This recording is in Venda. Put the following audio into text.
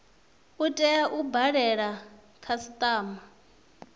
u tea u dalela khasitama